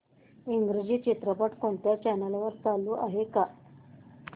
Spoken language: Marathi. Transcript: इंग्रजी चित्रपट कोणत्या चॅनल वर चालू आहे का